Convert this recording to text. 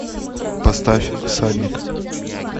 поставь всадник